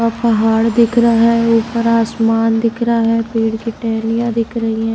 अ पहाड़ दिख रहा है ऊपर आसमान दिख रहा है पेड़ की टहैनियां दिख रही हैं।